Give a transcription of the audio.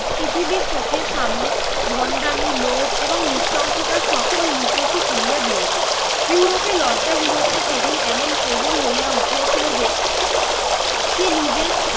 পৃথিবীর চোখের সামনে ভণ্ডামি, লোভ এবং নৃশংসতার সকল মুখোশ খুলিয়া দিয়াছে । ইউরোপের লজ্জাহীনতা সেদিন এমন প্রবল হইয়া উঠিয়াছিল যে সে নিজের